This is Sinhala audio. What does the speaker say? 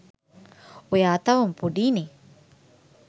ඔයා තවම පොඩීනේ